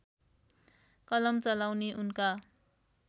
कलम चलाउने उनका